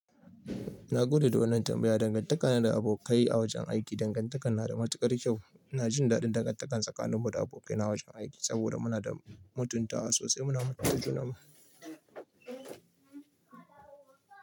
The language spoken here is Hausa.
Na gode da wannan tambaya. Dangantakana da abokai a wajen aiki, dangantaka na da matukar kyau. Ina jin daɗin dangantaka tsakanin mu da abokai na wajen aiki, saboda muna da mutuntawa sosai. Muna matuƙa namu.